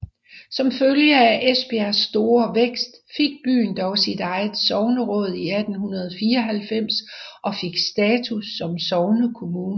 Som følge af Esbjergs store vækst fik byen dog sit eget sogneråd i 1894 og fik status som sognekommune